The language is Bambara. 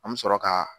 An bɛ sɔrɔ ka